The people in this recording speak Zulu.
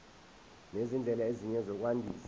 nezindlela ezinye zokwandisa